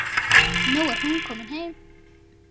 Nú er hún komin heim.